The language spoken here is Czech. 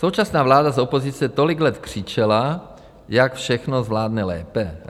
Současná vláda z opozice tolik let křičela, jak všechno zvládne lépe.